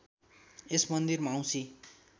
यस मन्दिरमा औँशी